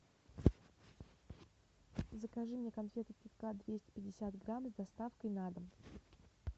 закажи мне конфеты кит кат двести пятьдесят грамм с доставкой на дом